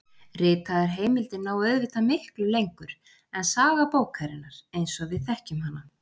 Ritaðar heimildir ná auðvitað miklu lengur en saga bókarinnar eins og við þekkjum hana.